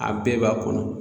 A bɛɛ b'a kɔnɔ.